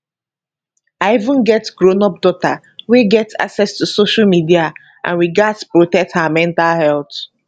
i even get grownup daughter wey get access to social media and we gatz protect her mental health